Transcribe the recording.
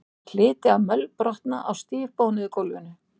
Hann hlyti að mölbrotna á stífbónuðu gólfinu.